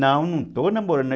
Não, não estou namorando.